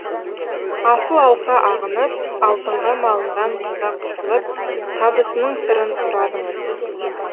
асыл алқа ағынып алтынға малынған қызға қызығып табысының сырын сұрадыңыз